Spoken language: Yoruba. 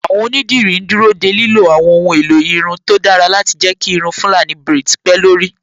Àwọn Onídìrí ń dúró de lílo àwọn ohun èlò irun tó dára láti jẹ́ kí irun Fulani braids pé lórí